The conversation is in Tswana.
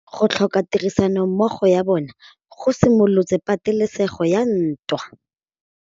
Go tlhoka tirsanommogo ga bone go simolotse patêlêsêgô ya ntwa.